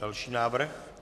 Další návrh?